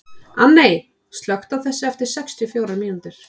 Anney, slökktu á þessu eftir sextíu og fjórar mínútur.